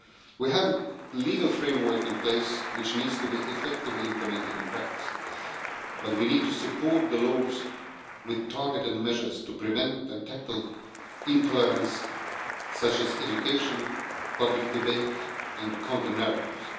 We have a legal framework in place which needs to be effectively implemented in practice, but we need to support the laws with targeted measures to prevent and tackle intolerance, such as education, public debate and counter narratives.